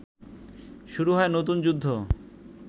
শুরু হয় নতুন যুদ্ধ